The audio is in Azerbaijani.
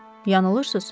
Yanılırsız.